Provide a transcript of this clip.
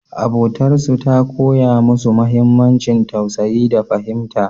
Abotarsu ta koya musu muhimmancin tausayi da fahimta.